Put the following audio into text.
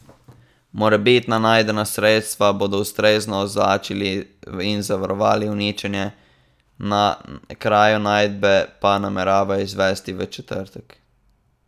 Morebitna najdena sredstva bodo ustrezno označili in zavarovali, uničenje na kraju najdbe pa nameravajo izvesti v četrtek.